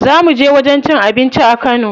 Za mu je wajen cin abinci a kano.